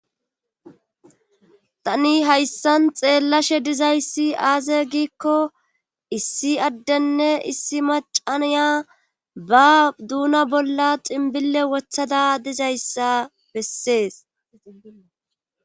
Tani haysan xellashe dizaysi aze gikko issi adene issi maca naya ba dunan bolla xinbile wothada dizaysa beses